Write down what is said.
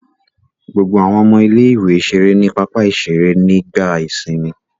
Gbogbo àwọn ọmọ ilé-ìwé ṣeré ní pápá-ìṣeré nígbà ìsìnmi.